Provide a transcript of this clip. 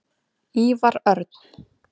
Ívar Örn.